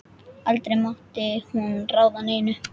Aldrei mátti hún ráða neinu.